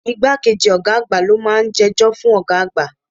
Igbá kejì ọ̀gá àgbà lo máa ń jẹ́jọ́ fún ọ̀gá àgbà.